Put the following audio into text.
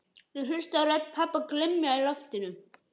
Ég hlusta á rödd pabba glymja í loftinu: